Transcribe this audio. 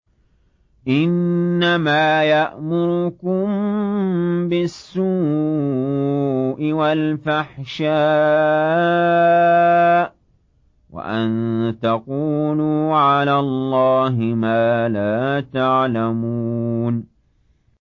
إِنَّمَا يَأْمُرُكُم بِالسُّوءِ وَالْفَحْشَاءِ وَأَن تَقُولُوا عَلَى اللَّهِ مَا لَا تَعْلَمُونَ